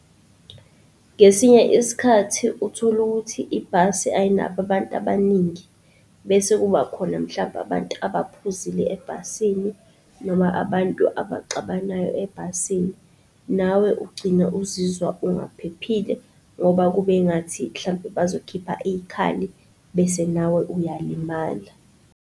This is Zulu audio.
Ngesinye isikhathi uthola ukuthi ibhasi ayinabo abantu abaningi bese kuba khona mhlampe abantu abaphuzile ebhasini noma abantu abaxabanayo ebhasini. Nawe ugcina uzizwa ungaphephile ngoba kube ngathi hlampe bazokhipha iy'khali bese nawe uyalimala.